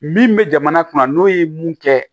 Min bɛ jamana kunna n'o ye mun kɛ